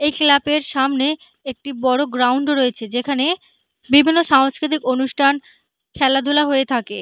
এক ক্লাবের সামনে একটি বড় গ্রাউন্ড রয়েছে। যেখানে বিভিন্ন সাংস্কৃতিক অনুষ্ঠান খেলাধুলা হয়ে থাকে।